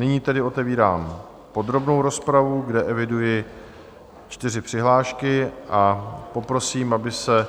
Nyní tedy otevírám podrobnou rozpravu, kde eviduji čtyři přihlášky, a poprosím, aby se